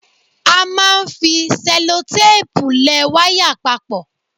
A máa ń fi sẹ́lótéèpu le wáyà papọ.